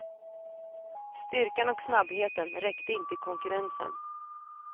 Styrkan och snabbheten räckte inte i konkurrensen.